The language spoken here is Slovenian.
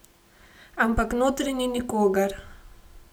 Ampak notri ni nikogar.